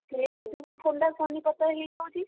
ମୁଁ ଅଧିକ ଥଣ୍ଡା ସନିପାତ ହେଇଯାଉଛି।